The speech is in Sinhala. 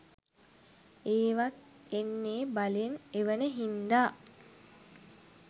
ඒවත් එන්නේ බලෙන් එවන හින්දා